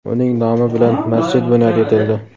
Uning nomi bilan masjid bunyod etildi.